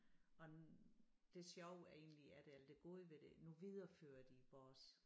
Og det sjove er egentlig at alt det gode ved det nu viderefører de vores